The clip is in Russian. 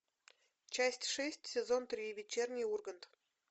часть шесть сезон три вечерний ургант